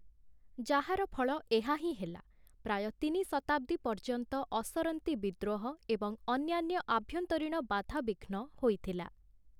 ଯାହାର ଫଳ ଏହା ହିଁ ହେଲା, ପ୍ରାୟ ତିନି ଶତାବ୍ଦୀ ପର୍ଯ୍ୟନ୍ତ ଅସରନ୍ତି ବିଦ୍ରୋହ ଏବଂ ଅନ୍ୟାନ୍ୟ ଆଭ୍ୟନ୍ତରୀଣ ବାଧାବିଘ୍ନ ହୋଇଥିଲା ।